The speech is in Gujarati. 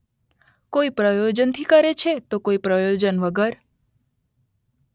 કોઈ પ્રયોજન થી કરે છે તો કોઈ પ્રયોજન વગર